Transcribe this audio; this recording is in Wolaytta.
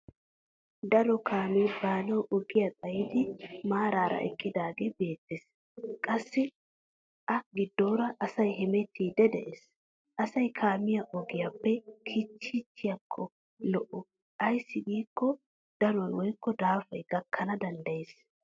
Daro kaamee baanawu ogiya xayidi maarara eqqidaagee beettes qassi a giddooraa asay hemettiiddi de'es. Asay kaamiya ogiyaappe kichchiichchhiyakko lo'o ayssi giikko danoy woykko daafay gakkana danddayes.